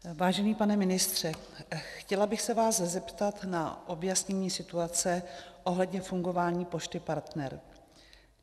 Vážený pane ministře, chtěla bych se vás zeptat na objasnění situace ohledně fungování Pošty Partner.